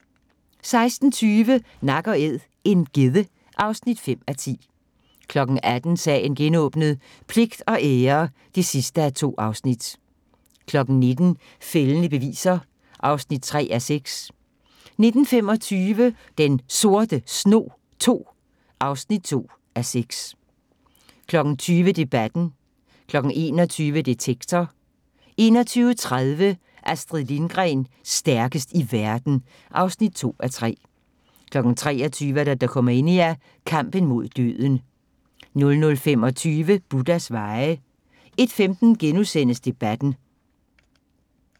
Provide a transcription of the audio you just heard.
16:20: Nak & æd - en gedde (5:10) 18:00: Sagen genåbnet: Pligt og ære (2:2) 19:00: Fældende beviser (3:6) 19:25: Den Sorte Snog II (2:6) 20:00: Debatten 21:00: Detektor 21:30: Astrid Lindgren – stærkest i verden (2:3) 23:00: Dokumania: Kampen mod døden 00:25: Buddhas veje 01:15: Debatten *